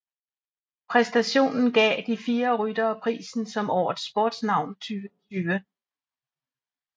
Præstationen gav de fire ryttere prisen som Årets Sportsnavn 2020